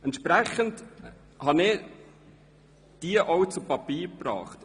Entsprechend habe ich diese auch zu Papier gebracht.